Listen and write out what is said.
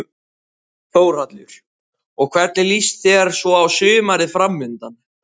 Þórhallur: Og hvernig líst þér svo á sumarið framundan?